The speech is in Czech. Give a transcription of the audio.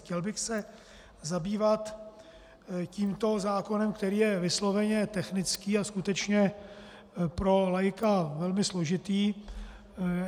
Chtěl bych se zabývat tímto zákonem, který je vysloveně technický a skutečně pro laika velmi složitý.